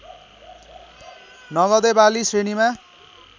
नगदे बाली श्रेणीमा